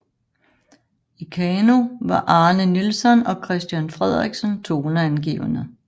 I kano var Arne Nielson og Christian Frederiksen toneangivende